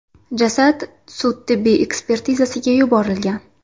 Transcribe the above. Jasad sud-tibbiy ekspertizasiga yuborilgan.